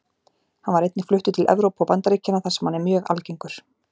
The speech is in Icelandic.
Hann var einnig fluttur til Evrópu og Bandaríkjanna þar sem hann er mjög algengur.